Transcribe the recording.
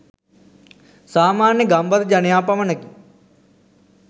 සාමාන්‍ය ගම්බද ජනයා පමණකි